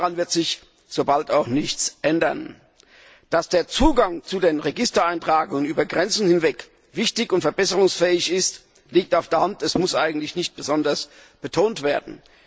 Daran wird sich so bald auch nichts ändern. Dass der Zugang zu den Registereintragungen über die Grenzen hinweg wichtig und verbesserungsfähig ist, liegt auf der Hand, es muss eigentlich nicht besonders betont werden.